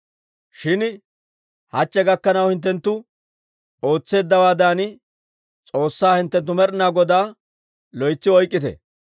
Shin hachche gakkanaw hinttenttu ootseeddawaadan, S'oossaa hinttenttu Med'ina Godaa loytsi oykkite.